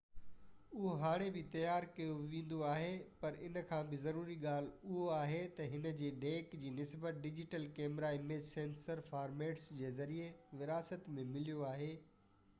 اهو هاڻي بہ تيار ڪيو ويندو آهي پر ان کان بہ ضروري ڳالهہ اهو آهي تہ ان جي ڏيک جي نسبت digital camera image sensor formats جي ذريعي وراثت ۾ مليو آهي